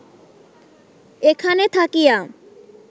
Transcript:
এখানে থাকিয়া